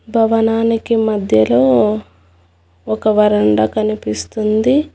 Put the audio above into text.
భవనానికి మధ్యలో ఒక వరండా కనిపిస్తుంది.